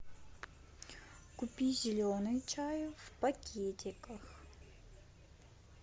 купи зеленый чай в пакетиках